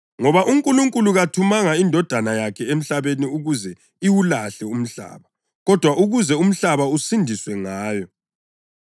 Ngoba uNkulunkulu kathumanga iNdodana yakhe emhlabeni ukuze iwulahle umhlaba, kodwa ukuze umhlaba usindiswe ngayo.